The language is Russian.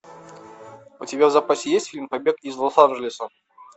у тебя в запасе есть фильм побег из лос анджелеса